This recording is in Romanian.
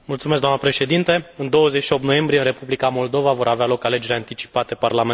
În 28 noiembrie, în Republica Moldova vor avea loc alegeri anticipate parlamentare.